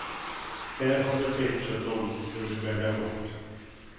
Här har du tipsen om hur du bär dig åt.